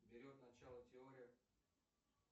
берет начало теория